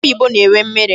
Akị oyibo na-enwe mmiri.